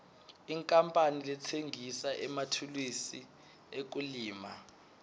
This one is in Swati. inkapani letsengisa emathulusi ekulima